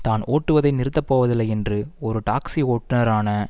தான் ஓட்டுவதை நிறுத்த போவதில்லை என்று ஒரு டாக்ஸி ஓட்டுனரான